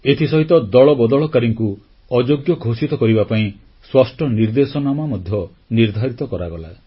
ଏଥିସହିତ ଦଳବଦଳକାରୀଙ୍କୁ ଅଯୋଗ୍ୟ ଘୋଷିତ କରିବା ପାଇଁ ସ୍ପଷ୍ଟ ନିର୍ଦ୍ଦେଶନାମା ମଧ୍ୟ ନିର୍ଦ୍ଧାରିତ କରାଗଲା